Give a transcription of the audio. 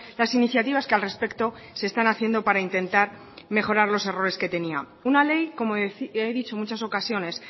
las iniciativas que al respecto se están haciendo para intentar mejorar los errores que tenía una ley como he dicho en muchas ocasiones